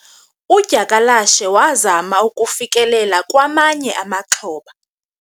udyakalashe wazama ukufikelela kwamanye amaxhoba